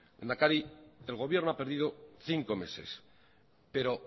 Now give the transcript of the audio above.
lehendakari el gobierno ha perdido cinco meses pero